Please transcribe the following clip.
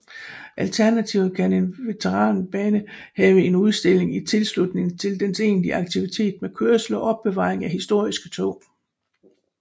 Alternativt kan en veteranbane have en udstilling i tilslutning til dens egentlige aktivitet med kørsel og opbevaring af historiske tog